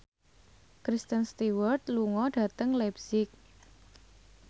Kristen Stewart lunga dhateng leipzig